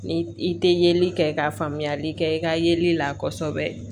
Ni i tɛ yeli kɛ ka faamuyali kɛ i ka yeli la kosɛbɛ